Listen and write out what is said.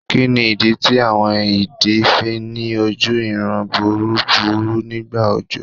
Kíni ìdí tí àwọn idì fi ní oju ìran búburú nigba ọjọ